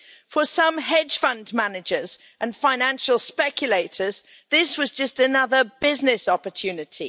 For some hedge fund managers and financial speculators, this was just another business opportunity.